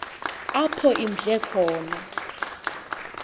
apho imdle khona